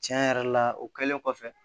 Tiɲɛ yɛrɛ la o kɛlen kɔfɛ